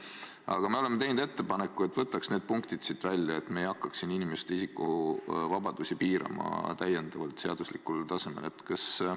Aga me oleme teinud ettepaneku, et võtaks need punktid siit välja, et me ei hakkaks inimeste isikuvabadusi seadusega täiendavalt piirama.